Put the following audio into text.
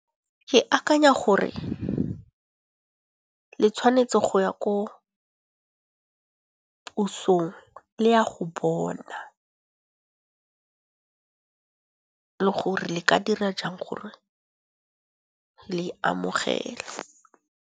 Ke akanya gore le tshwanetse go ya ko pusong le a go bona le gore le ka dira jang gore le amogele.